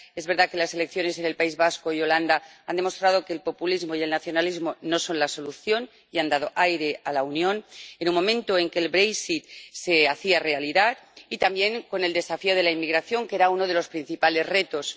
Es verdad que las elecciones en el País Vasco y Holanda han demostrado que el populismo y el nacionalismo no son la solución y han dado aire a la Unión en un momento en que el se hacía realidad, y también con el desafío de la inmigración, que era uno de los principales retos